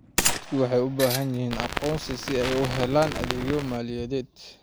Dadku waxay u baahan yihiin aqoonsi si ay u helaan adeegyo maaliyadeed.